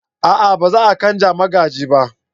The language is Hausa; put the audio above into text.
a'a ba za a canja magaji ba